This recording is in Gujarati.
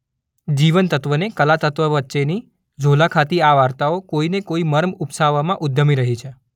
જીવનતત્વને કલાતત્વ વચ્ચેની ઝોલા ખાતી આ વાર્તાઓ કોઈ ને કોઈ મર્મ ઉપસાવવામાં ઉદ્યમી રહી છે.